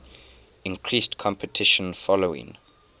increased competition following